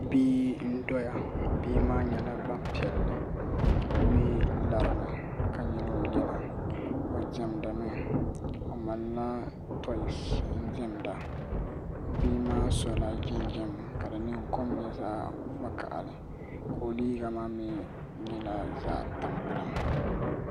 Bia n doya bia maa yɛla gbaŋ piɛlli o mi larimi ka yili o yina o diɛmdi mi o malila tɔisi n diɛmda bia maa sola jinjam ka di kom yɛ zaɣi vakahali ka o liiga maa mi yɛla zaɣi tampilim.